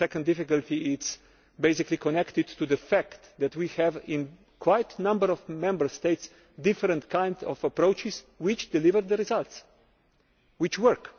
The second difficulty is basically connected to the fact that in quite a number of Member States there are different kinds of approaches which deliver results which work!